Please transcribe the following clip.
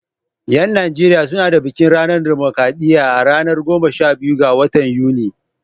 Yan Najeriya su na bikin ranar dimokradiyya a ranar goma sha biyu ga watan Yuni.